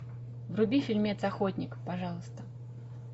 вруби фильмец охотник пожалуйста